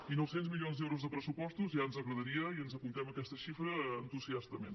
i nou cents milions d’euros de pressupostos ja ens agradaria i ens apuntem aquesta xifra entusiastament